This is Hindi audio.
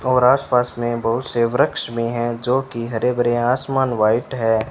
और आसपास में बहुत से वृक्ष भी हैं जो कि हरे भरे हैं आसमान व्हाइट है।